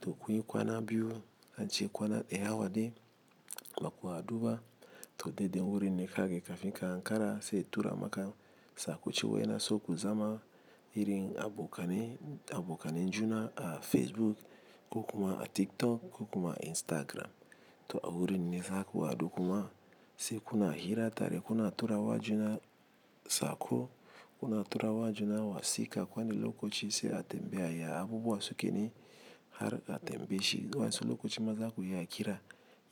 To kuyin kwana biyu, an ce kwana ɗayawa dai, baku ha duba. To dai dai wurin ne kage kafin ka ankara se itura maka sako cewa yana so ku zama. Irin abokanai, abokanai juna a Facebook ko kuma a TikTok ko kuma Instagram. To a wurin ne zaku hadu kuma se kuna hira tare, kuna tura wa juna sako, kuna tura wa juna wasika. Kwani lokoci se a tembeya ya abubuwan suke ne har a tembe shi. Wansu lokoci ma zaku iya kira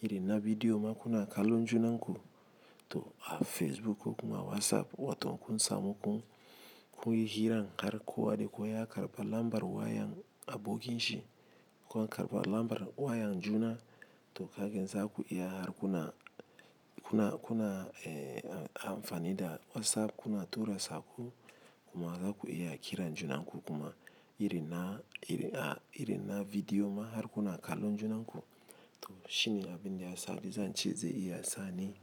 iri na bidiyo ma kuna kalon junan ku. To a Facebook ko kuma WhatsApp wato kun samu kun, kun yi hiran har kuwa dekowa ya karɓa lambar wayan abokin shi. Kwan karɓa lambar wayan juna to kagen zaku iya har kuna, kuna, kuna ehhh, amfani da WhatsApp kuna tura sako kuma zaku iya kiran juna hanku kuma iri na, iri a, iri na video ma har kuna kalon junan ku. To shine abin da yasa zance ze iya sani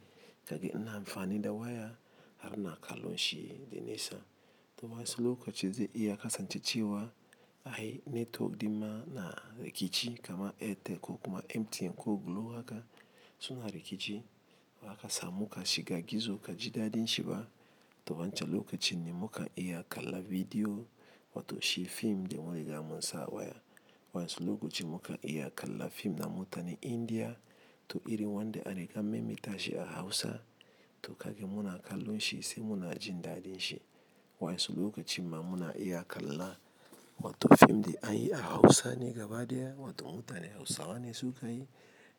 kaga ina fani da waya har ina kallon shi de nesa. Toma wasu kokaci ze iya kasance cewa ai netin din ma na rikici kama Airtel ko kuma MTN ko Glo haka suna rikici. Waka samu ka shiga gizo ka ji dadin shi ba. To wancan lokacin ne muka iya kalla bidiyo wato shi fim da mu riga munsa a waya. Wa yansu lokacin mukan iya kalli film na mutanan india to iri wanda a riga mai mai tashe a Hausa to kage muna kalon shi sai muna jin dadin shi. Wansu lokaci ma muna iya kalla wato fim da an yi a Hausa ne gaba daya wato mutanen Hausawa ne suka yi.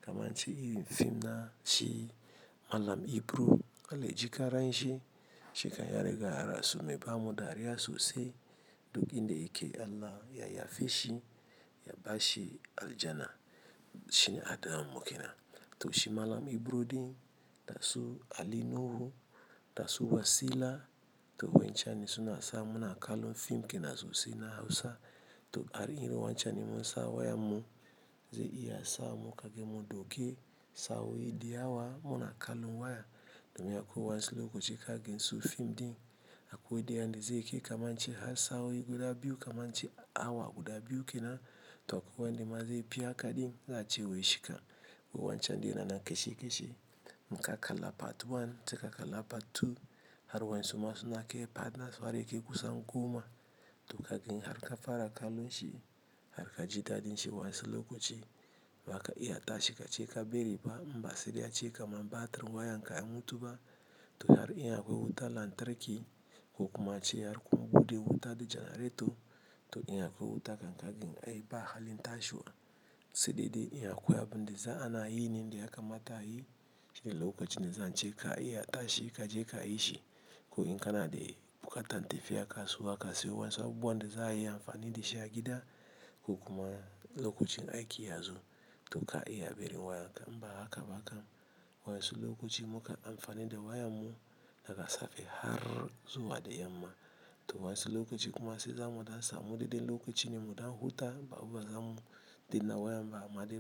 Kaman ce iri fim na shi Malam Ibro, Alhajji Karan shi, shika yariga yarasume bamun dariya sosai. Duk inda yake Allah ya yafe shi, ya bashi aljana. Shine Adamu ke nan. To shi Malam Ibro din, da su Ali Nuhu, da su Wasila. To wancan ne suna sa muna kalon fim ke na sosai na Hausa. To ari iri wancan ne mun sa wayan mu zai iya sa mu kage mu dauke sa'o guda biyu kaman ce awa guda biyu ke nan. To kuwa wanda ma zaifi haka din za'a ce wai shika, go wancan dai yana nan kashe kashe. Inka kalla part 1 sai kalli part 2 har wayansu nayi nasu yakai goma to kage har ka fara kalon shi har ka ji dadin shi wansu lokaci baka iya tashi ka ce ka bari ba. Mbass sai dai a ce kaman battery wayan ka ya mutu ba. To har iya kuwa wuta lantarki ko kuma ace har kuwa bude wuta da janareto. To iya kuwa wuta latarki geda ai ba halin tashe ba. Saidai dai in akwai abinda za'a nayi ne da yaka mata ayi sai lokacin da zan ce ka iya tashi kaje ka yi shi. Ko in kana dai bukatan tafiya ka suwa ka siyo. Wansu abubuwan da za a yi amfani da shi a gida ko kuma lokacin aiki yazo. To ka iya bari wayan ka mba haka ba haka. Wansu lokaci muka amfani da wayan mu daga safe har zuwa da yamma. To wansu lokaci kuma sai zamu dan samu mudubin lokaci ne mu dan huta babba zamu dina wayan ba amadi.